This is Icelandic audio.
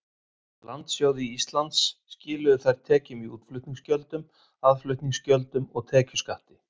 Landsjóði Íslands skiluðu þær tekjum í útflutningsgjöldum, aðflutningsgjöldum og tekjuskatti.